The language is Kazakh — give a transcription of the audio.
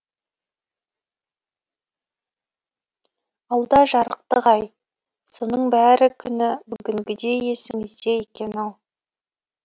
алда жарықтық ай соның бәрі күні бүгінгідей есіңізде екен ау